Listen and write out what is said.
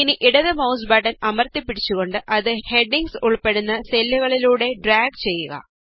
ഇനി ഇടത് mouse button അമര്ത്തിപ്പിടിച്ചുകൊണ്ട് അത് ഹെഡിംഗ്സ് ഉള്പ്പെടുന്ന സെല്ലുകളിലൂടെ ഡ്രാഗ് ചെയ്യുക